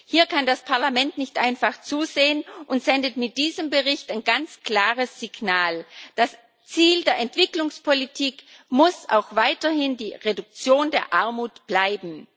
Hier kann das Parlament nicht einfach zusehen und sendet mit diesem Bericht ein ganz klares Signal. Das Ziel der Entwicklungspolitik muss auch weiterhin die Reduktion der Armut bleiben.